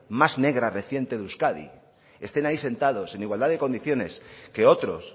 más negra reciente de euskadi estén ahí sentados en igualdad de condiciones que otros